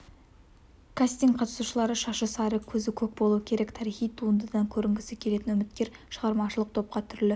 кастингке қатысушылардың шашы сары көзі көк болуы керек тарихи туындыдан көрінгісі келетін үміткер шығармашылық топқа түрлі